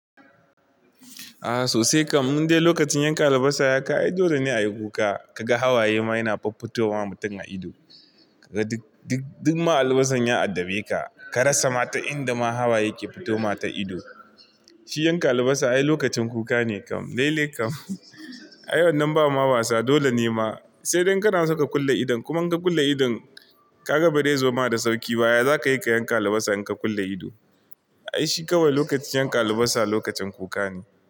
A sosai kam, mun dai lokacin yanka albasa ya kai dole ne a yi kuka, ka ga hawaye ma yana fafutowa mutum a ido. Duk ma albasan ya addabe ka, ka rasa ma ta inda ma hawaye ke fitoma ta ido. Shi yanka albasa ai lokacin kuka ne kam. Lailai kam. Ai wannan ba ma wasa, dole ne ma, sai dai kana so ka kulle idon kuma in ka kulle idon, ka ga bai da zoma da sauƙi ba, ya za ka yi ka yanka albasa in ka kulle ido? Ai shi kawai lokacin yanka albasa lokacin kuka ne.